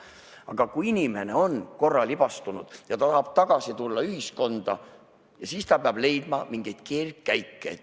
Aga kui inimene on korra libastunud ja ta tahab ühiskonda tagasi tulla, siis ta peab tegema mingeid keerdkäike.